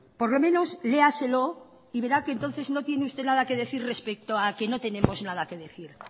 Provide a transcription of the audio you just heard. por lo menos léaselo y verá que entonces no tiene usted nada que decir respeto a que no tenemos nada que decir